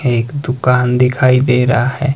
एक दुकान दिखाई दे रहा है।